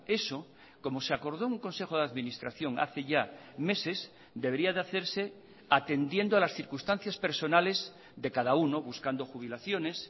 eso como se acordó en un consejo de administración hace ya meses debería de hacerse atendiendo a las circunstancias personales de cada uno buscando jubilaciones